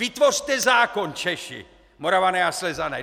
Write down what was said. Vytvořte zákon, Češi, Moravané a Slezané.